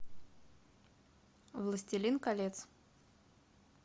властелин колец